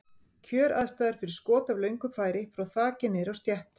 Kjöraðstæður fyrir skot af löngu færi, frá þaki niður á stétt.